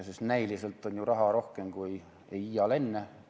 Sest näiliselt on ju raha rohkem kui iial enne.